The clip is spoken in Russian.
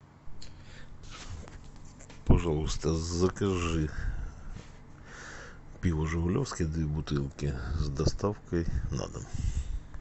пожалуйста закажи пиво жигулевское две бутылки с доставкой на дом